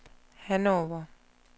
Hannover